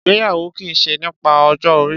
Ìgbéyàwó ki ṣe nípa ọjọ́ orí